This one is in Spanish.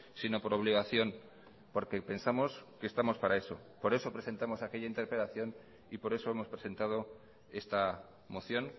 sino por obligación porque pensamos que estamos para eso por eso presentamos aquella interpelación y por eso hemos presentado esta moción